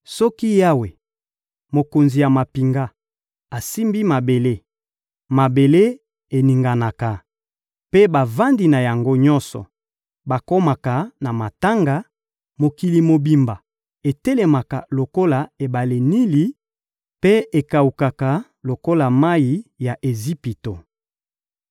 Soki Yawe, Mokonzi ya mampinga, asimbi mabele, mabele eninganaka, mpe bavandi na yango nyonso bakomaka na matanga, mokili mobimba etelemaka lokola ebale Nili mpe ekawukaka lokola mayi ya Ejipito.